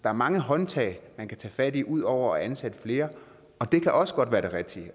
er mange håndtag man kan tage fat i ud over at ansætte flere og det kan også godt være det rigtige